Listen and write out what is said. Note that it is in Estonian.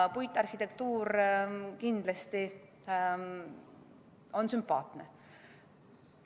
Puitarhitektuur kindlasti on sümpaatne.